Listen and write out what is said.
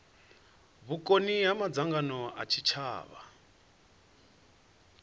vhukoni ha madzangano a tshitshavha